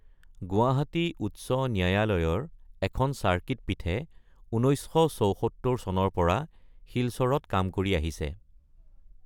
গুৱাহাটী উচ্চ ন্যায়ালয়ৰ এখন চাৰ্কিট পীঠে ১৯৭৪ চনৰ পৰা শিলচৰত কাম কৰি আহিছে।